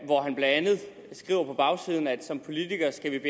hvor han blandt andet skriver på bagsiden at som politikere skal